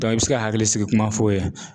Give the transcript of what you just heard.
i bɛ se ka hakilisigi ko kuma f'o ye